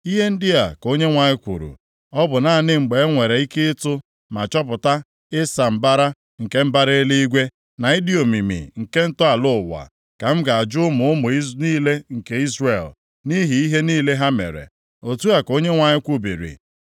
Ihe ndị a ka Onyenwe anyị kwuru, “Ọ bụ naanị mgbe e nwere ike ịtụ ma chọpụta ịsa mbara nke mbara eluigwe, na ịdị omimi nke ntọala ụwa, ka m ga-ajụ ụmụ ụmụ niile nke Izrel, nʼihi ihe + 31:37 Ya bụ, ihe ọjọọ niile ha mere.” Otu a ka Onyenwe anyị kwubiri.